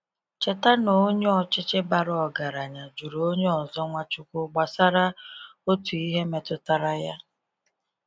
Cheta na onye ọchịchị bara ọgaranya jụrụ onye ọzọ Nwachukwu gbasara otu ihe metụtara ya.